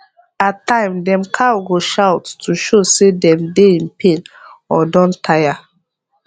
at time dem cow go shout to show sey dem dey in pain or don tire